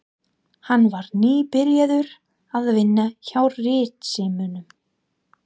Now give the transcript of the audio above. Hann var nýbyrjaður að vinna hjá Ritsímanum.